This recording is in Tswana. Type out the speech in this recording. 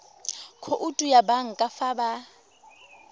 khoutu ya banka fa ba